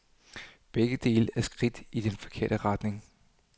Begge dele er skridt i den forkerte retning.